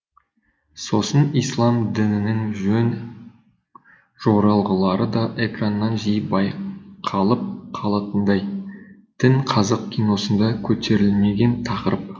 сосын ислам дінінің жөн жоралғылары да экраннан жиі байқалып қалатындай дін қазақ киносында көтерілмеген тақырып